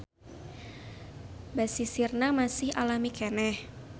Basisirna masih alami keneh.